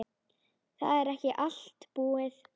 Það er ekki allt búið.